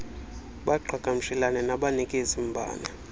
baqhagamshelane nabanikezi mbane